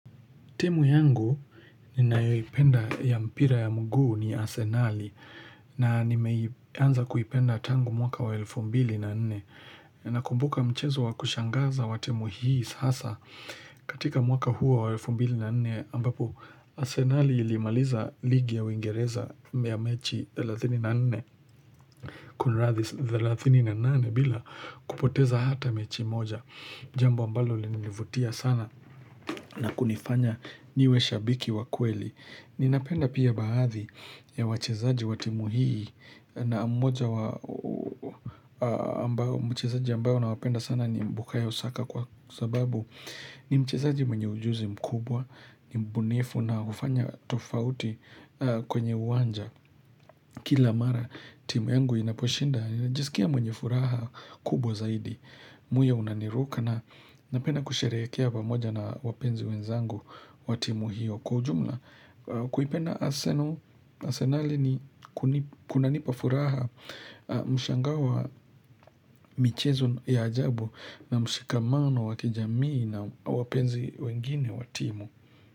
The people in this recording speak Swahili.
Timu yangu ninayoipenda ya mpira ya mguu ni Asenali na nimeanza kuipenda tangu mwaka wa elfu mbili na nne. Nakumbuka mchezo wa kushangaza wa timu hii sasa katika mwaka huo wa elfu mbili na nene ambapo Asenali ilimaliza ligi ya uingereza ya mechi 34 kunradhi 38 bila kupoteza hata mechi moja. Jambo ambalo linivutia sana na kunifanya niwe shabiki wa kweli. Ninapenda pia baadhi ya wachezaji wa timu hii na mmoja wa mchezaji ambayo nawapenda sana ni bukayo saka kwa sababu ni mchezaji mwenye ujuzi mkubwa, ni mbunifu na hufanya tofauti kwenye uwanja. Kila mara timu yangu inaposhinda najisikia mwenye furaha kubwa zaidi moyo unaniruka na napenda kusherehekea pamoja na wapenzi wenzangu wa timu hiyo Kwa ujumla kuipenda Arsenal asenali ni kunanipa furaha mshangao wa michezo ya ajabu na mshikamano wa kijamii na wapenzi wengine wa timu.